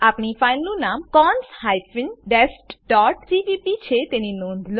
આપણી ફાઈલનું નામ cons hyphen dest dot CPP છે તેની નોંધ લો